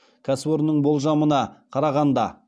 кәсіпорынның болжамына қарағанда